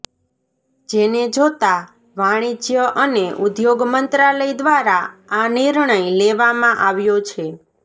જેને જોતાં વાણિજ્ય અને ઉદ્યોગ મંત્રાલય દ્વારા આ નિર્ણય લેવામાં આવ્યો છે